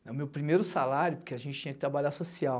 É o meu primeiro salário, porque a gente tinha que trabalhar social.